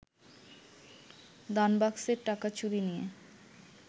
দানবাক্সের টাকা চুরি নিয়ে